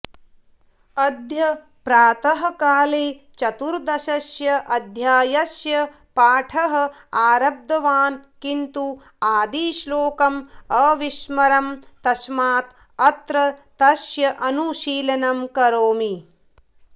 अद्य प्रातःकाले चतुर्दशस्य अध्यायस्य पाठः आरब्धवान् किन्तु आदिश्लोकम् अविस्मरम् तस्मात् अत्र तस्य अनुशीलनं करोमि